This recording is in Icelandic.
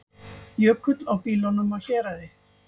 Jökull á bílunum á Héraði